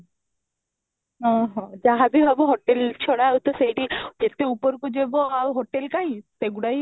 ହଁ, ହଁ, ଯାହା ବି ହେବ hotel ଛାଡ ଆଉ ତ ସେଠି କେତେ ଉପର କୁ ଯିବ ଆଉ hotel କାହିଁ ସେ ଗୁଡା ହିଁ